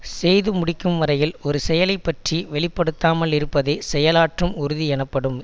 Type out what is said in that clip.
செய்து முடிக்கும் வரையில் ஒரு செயலை பற்றி வெளிப்படுத்தாமலிருப்பதே செயலாற்றும் உறுதி எனப்படும்